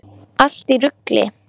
Allt í rugli!